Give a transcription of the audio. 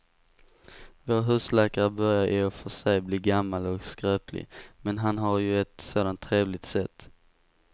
Vår husläkare börjar i och för sig bli gammal och skröplig, men han har ju ett sådant trevligt sätt!